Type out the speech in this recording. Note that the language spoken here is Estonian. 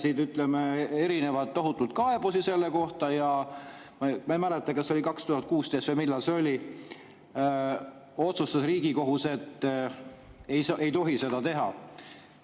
Siis järgnes tohutult kaebusi selle kohta ja siis – ma ei mäleta, kas oli 2016 või millal – otsustas Riigikohus, et ei tohi seda teha.